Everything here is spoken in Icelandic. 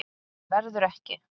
Verður ekki.